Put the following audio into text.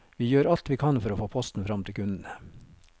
Vi gjør alt vi kan for å få posten frem til kundene.